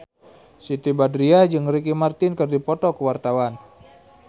Siti Badriah jeung Ricky Martin keur dipoto ku wartawan